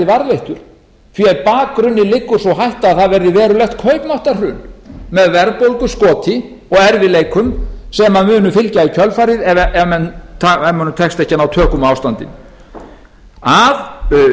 varðveittur því að á bakgrunni liggur sú hætta að það verði verulegt kaupmáttarhrun með verðbólguskoti og erfiðleikum sem munu fylgja í kjölfarið ef mönnum tekst ekki að ná tökum á ástandinu að